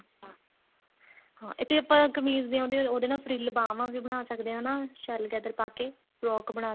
ਹਾਂ ਇਹ ਤੇ ਆਪਾਂ ਕਮੀਜ਼ ਤੇ ਉਹਦੇ ਨਾਲ ਫ੍ਰੀਲ ਬਾਵਾਂ ਵੀ ਬਣਾ ਸਕਦੇ ਹਾਂ ਹਨਾ ਸ਼ਲਗਦਰ ਪਾਕੇ frock ਬਣਾ